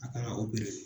A kan ka